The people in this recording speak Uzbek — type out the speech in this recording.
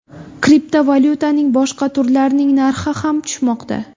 Kriptovalyutaning boshqa turlarining narxi ham tushmoqda.